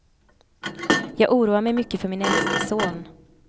Jag oroar mig mycket för min äldste son.